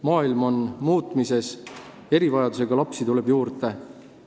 Maailm on muutumises, erivajadustega lapsi tuleb juurde.